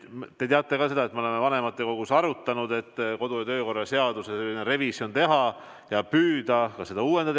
Te teate, et me oleme vanematekogus arutanud, et kodu- ja töökorra seaduses tuleks n-ö revisjon teha ja püüda seda uuendada.